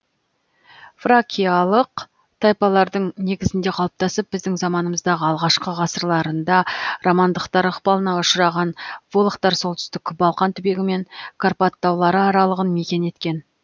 фракиялық тайпалардың негізінде қалыптасып біздің заманымыздағы алғашқы ғасырларында романдықтар ықпалына ұшыраған волохтар солтүстік балқан түбегі мен карпат таулары аралығын мекен еткен